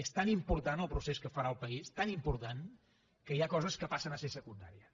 és tan important el procés que farà el país tan important que hi ha coses que passen a ser secundàries